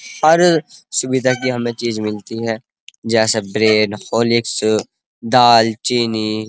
अर् सुविधा की हमें चीज़ मिलती हैं जैसे ब्रेड होलिस्क दाल चीनी।